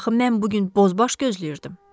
Axı mən bu gün bozbaş gözləyirdim.